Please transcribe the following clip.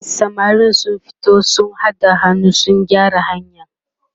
e samarin sun fito sun haɗa hannu sun gyara hanyar